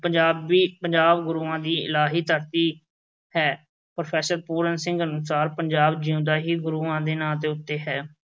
ਪੰਜਾਬ ਦੀ, ਪੰਜਾਬ ਗੁਰੂਆਂ ਦੀ ਇਲਾਹੀ ਧਰਤੀ ਹੈ। ਪ੍ਰੋਫੈਸਰ ਪੂਰਨ ਸਿੰਘ ਅਨੁਸਾਰ ਪੰਜਾਬ ਜਿਉਂਦਾ ਹੀ ਗੁਰੂਆਂ ਦੇ ਨਾਂ ਦੇ ਉੱਤੇ ਹੈ।